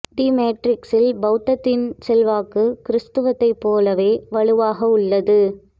தி மேட்ரிக்ஸில் பௌத்தத்தின் செல்வாக்கு கிறித்துவத்தைப் போலவே வலுவாக உள்ளது